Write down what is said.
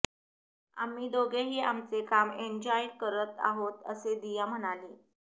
आम्ही दोघेही आमचे काम एन्जॉय करत आहोत असे दिया म्हणाली